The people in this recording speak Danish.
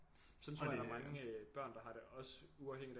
Sådan tror jeg der er mange øh børn der har det også uafhængigt af